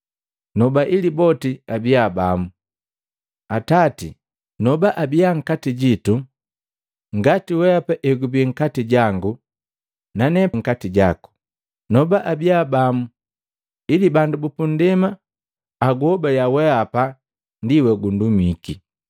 Noba ili boti abia bamu. Atati, noba abiya nkati jitu ngati wehapa egubii nkati jangu nane nkati jaku. Noba abiya bamu ili bandu bupundema ahobaliya wehapa ndi wogundumiki.